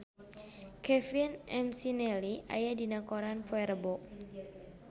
Kevin McNally aya dina koran poe Rebo